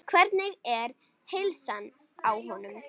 Hvernig er heilsan á honum?